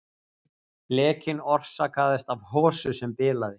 Lekinn orsakaðist af hosu sem bilaði